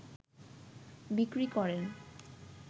বিক্রি করেন